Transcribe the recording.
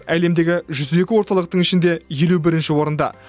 әлемдегі жүз екі орталықтың ішінде елу бірінші орында